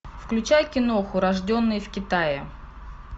включай киноху рожденный в китае